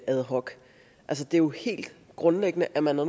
ad hoc det er jo helt grundlæggende at man er